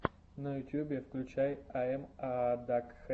на ютьюбе включай ай эм аа дакхэд